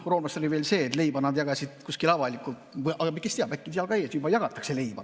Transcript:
Roomlastel oli veel sedasi, et leiba nad jagasid kuskil avalikult – aga kes teab, äkki seal ees ka juba jagatakse leiba.